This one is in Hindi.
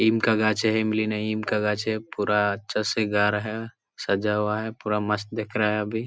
नीम का गाछ है इमली नहीं नीम का गाछ है पूरा अच्छा से घर है सजा हुआ है पूरा मस्त दिख रहा है अभी।